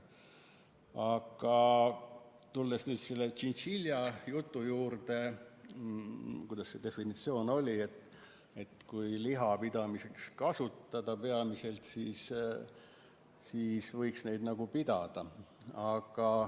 Aga tulles nüüd tšintšiljade juurde – kuidas see oligi, et kui peamiselt liha saamiseks kasvatada, siis võiks neid pidada.